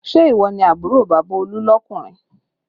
Ṣé ìwọ ni àbúrò bàbá Olú lọkunrin?